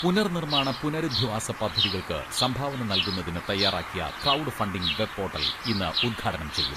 പുനർ നിർമ്മാണ പുനരധിവാസ പദ്ധതികൾക്ക് സംഭാവന നൽകുന്നതിന് തയ്യാറാക്കിയ ക്രൗഡ് ഫണ്ടിങ്ങ് വെബ് പോട്ടൽ ഇന്ന് ഉദ്ഘാടനം ചെയ്യും.